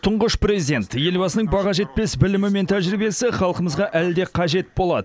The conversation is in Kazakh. тұңғыш президент елбасының баға жетпес білімі мен тәжірибесі халқымызға әлі де қажет болады